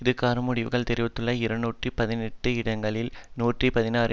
இதுகாறும் முடிவுகள் தெரிந்துள்ள இருநூற்றி பதினெட்டு இடங்களில் நூற்றி பதினாறு